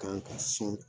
Kan ka sɔn